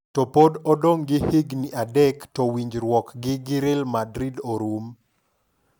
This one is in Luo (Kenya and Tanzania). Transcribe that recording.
To pod odong' gi higni adek to winjruokgi gi Real Madrid orum